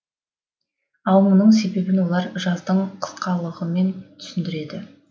ал мұның себебін олар жаздың қысқалығымен түсіндіреді